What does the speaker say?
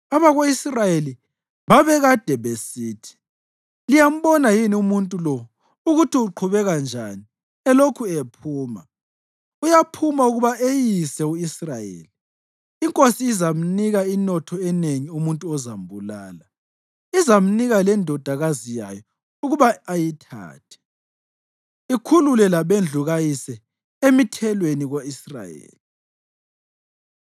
Abako-Israyeli babekade besithi, “Liyambona yini umuntu lo ukuthi uqhubeka njani elokhu ephuma? Uyaphuma ukuba eyise u-Israyeli. Inkosi izamnika inotho enengi umuntu ozambulala. Izamnika lendodakazi yayo ukuba ayithathe, ikhulule labendlu kayise emithelweni ko-Israyeli.”